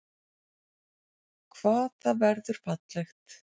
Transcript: Hvað það verður fallegt!